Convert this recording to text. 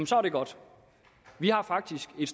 så er det godt vi har faktisk et